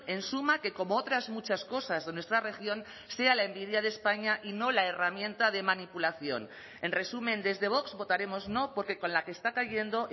en suma que como otras muchas cosas de nuestra región sea la envidia de españa y no la herramienta de manipulación en resumen desde vox votaremos no porque con la que está cayendo